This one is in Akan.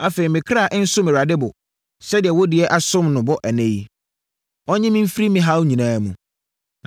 Afei, me kra nsom Awurade bo, sɛdeɛ wo deɛ asom me bo ɛnnɛ yi. Ɔnnye me mfiri me haw nyinaa mu.”